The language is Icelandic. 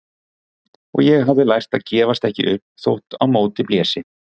Og ég hafði lært að gefast ekki upp þótt á móti blési.